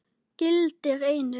gildir einu.